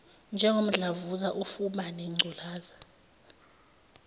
njengomdlavuza ufuba nengculaza